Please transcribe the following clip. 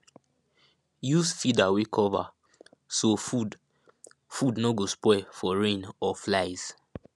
use feeder wey cover so food food no go spoil for rain or flies